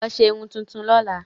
Lọ ṣe irun tuntun lọ́la!